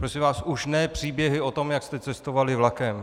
Prosím vás, už ne příběhy o tom, jak jste cestovali vlakem.